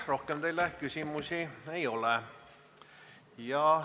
Rohkem teile küsimusi ei ole.